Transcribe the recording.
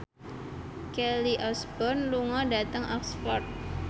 Kelly Osbourne lunga dhateng Oxford